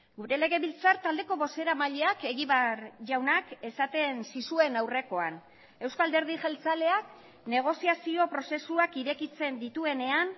gure legebiltzar taldeko bozeramaileak egibar jaunak esaten zizuen aurrekoan euzko alderdi jeltzaleak negoziazio prozesuak irekitzen dituenean